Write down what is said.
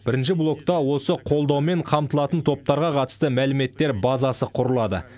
бірінші блокта осы қолдаумен қамтылатын топтарға қатысты мәліметтер базасы құрылады